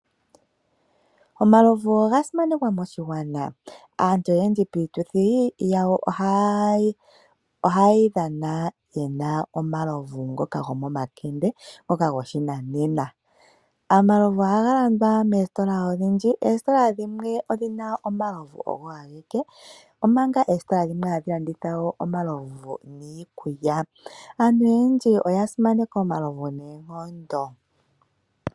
Omalovu oga simanekwa moshigwana. Aantu oyendji iituthi yawo ohaye yi dhana ye na omalovu ngoka gomomakende ngoka goshinanena. Omalovu ohaga landwa moositola odhindji. Oositola dhimwe odhi na omalovu ogo ageke, omanga oositola dhimwe hadhi landitha wo omalovu niikulya. Aantu oyendji oya simaneka omalovu noonkondo.